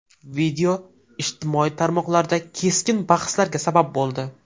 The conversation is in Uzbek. Video ijtimoiy tarmoqlarda keskin bahslarga sabab bo‘ldi .